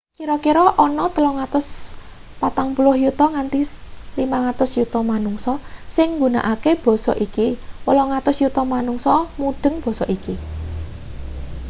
kira-kira ana 340 yuta nganti 500 yuta manungsa sing nggunakake basa iki 800 yuta manungsa mudheng basa iki